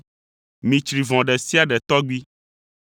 Mitsri vɔ̃ ɖe sia ɖe tɔgbi.